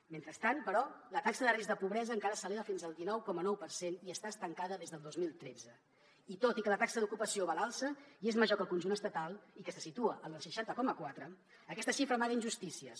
mentrestant però la taxa de risc de pobresa encara s’eleva fins al dinou coma nou per cent i està estancada des del dos mil tretze i tot i que la taxa d’ocupació va a l’alça i és major que al conjunt estatal i que se situa en el seixanta coma quatre aquesta xifra amaga injustícies